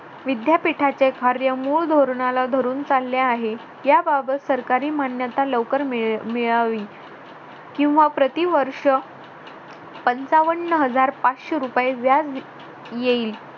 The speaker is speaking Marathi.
विद्यापीठाचे कार्य मूळ धोरणाला धरून चालले आहे याबाबत सरकारी मान्यता लवकर मिळावी किंवा प्रतिवर्ष पंचावन्न हजार पाचशे रुपये व्याज येईल